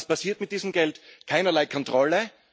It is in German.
Und was passiert mit diesem Geld? Keinerlei Kontrolle!